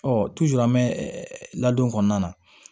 Ɔ an bɛ ladon kɔnɔna na